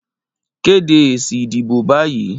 Kéde èsì ìdìbò báyìí